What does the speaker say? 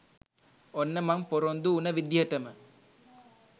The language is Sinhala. ඔන්න මං පොරොන්දු උන විදියටම